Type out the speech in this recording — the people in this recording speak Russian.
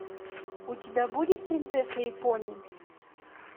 у тебя будет принцесса и пони